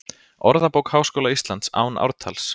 Orðabók Háskóla Íslands, án ártals.